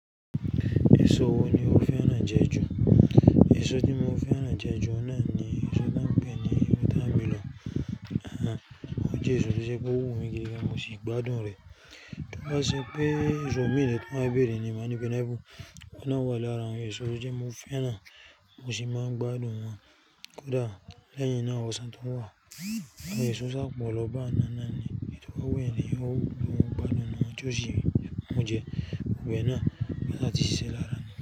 Èso wo ni o fẹ́ rán ń jẹ ju? Èso tí mo fẹ́ rán ń jẹ ju oun náà ni èso tánpẹ́ ní wotamelọ. Ó jẹ èso tí ṣe pé ó wù mí gidi kí mo sì gbádùn rẹ̀. Tí wọ́n bá sọ pé èso mìí tí wọ́n á bèrè ni màá ní pénáìpu, ó náà wà lára àwọn èso tí mo fẹ́ rán mo sì máa ń gbádùn wọ́n. Kódà lẹ́yìn náà ó san tó wà. Àì èso sá pọ lọ bá n náà ni èyi tọ wu ènìyàn, ó wù mí, mo gbádùn wọ́n ju sì wí. Mo jẹ wọ́n náà ní sì ṣíṣe lára mi.